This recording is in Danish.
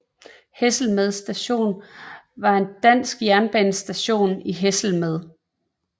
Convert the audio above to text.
Hesselmed Station var en dansk jernbanestation i Hesselmed